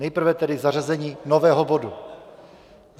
Nejprve tedy zařazení nového bodu.